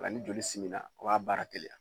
Nka ni joli simila o b'a baara teliya.